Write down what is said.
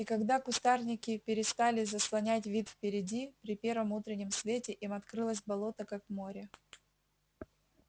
и когда кустарники перестали заслонять вид впереди при первом утреннем свете им открылось болото как море